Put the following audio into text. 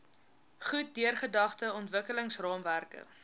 goed deurdagte ontwikkelingsraamwerke